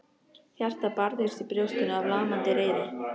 Hjartað barðist í brjóstinu af lamandi reiði.